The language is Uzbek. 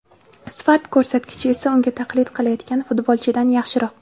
Sifat ko‘rsatkichi esa unga taqlid qilayotgan futbolchida yaxshiroq.